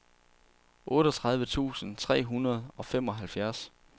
otteogtredive tusind tre hundrede og femoghalvfjerds